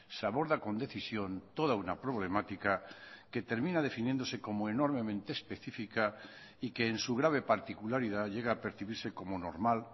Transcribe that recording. se aborda con decisión toda una problemática que termina definiéndose como enormemente específica y que en su grave particularidad llega a percibirse como normal